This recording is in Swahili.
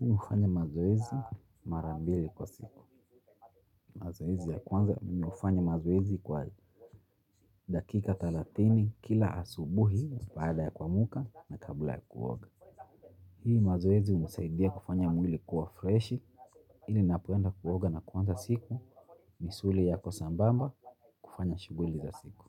Mimi hufanya mazoezi mara mbili kwa siku. Mazoezi ya kwanza mimi hufanya mazoezi kwa dakika thelathini kila asubuhi baada ya kuamka na kabla ya kuoga. Hii mazoezi hunisaidia kufanya mwili kuwa freshi ili napoenda kuoga na kuanza siku misuli yako sambamba kufanya shughuli za siku.